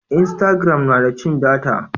instagram na da cin data